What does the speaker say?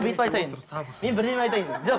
бүйтіп айтайын мен бірдеме айтайын жоқ